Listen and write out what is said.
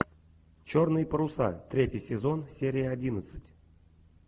черные паруса третий сезон серия одиннадцать